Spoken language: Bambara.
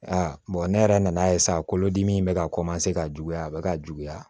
A ne yɛrɛ nan'a ye sa kolodimi in bɛ ka ka juguya a bɛ ka juguya